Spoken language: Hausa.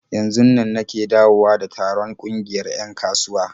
Yanzunnan nake dawowa da taron ƙungiyar 'yan kasuwa.